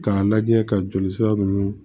K'a lajɛ ka joli sira ninnu